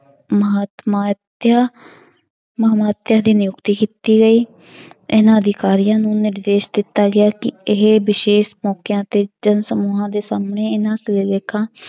ਮਹਾਤ ਮਾਤਯ ਮਹਾਂਮਾਤਯ ਦੀ ਨਿਯੁਕਤੀ ਕੀਤੀ ਗਈ ਇਹਨਾਂ ਅਧਿਕਾਰੀਆਂ ਨੂੰ ਨਿਰਦੇਸ਼ ਦਿੱਤਾ ਗਿਆ ਕਿ ਇਹ ਵਿਸ਼ੇਸ਼ ਮੌਕਿਆਂ ਤੇ ਜਨ ਸਮੂਹਾਂ ਦੇ ਸਮੇਂ ਇਹਨਾਂ ਸਿਲਾਲੇਖਾਂ